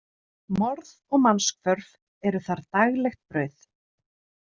Morð og mannshvörf eru þar daglegt brauð.